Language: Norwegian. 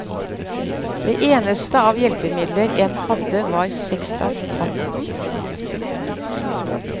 Det eneste av hjelpemidler en hadde var sekstanten.